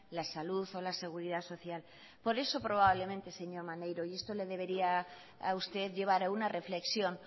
la salud o la seguridad social por eso probablemente señor maneiro y esto le debería a usted llevar a una reflexión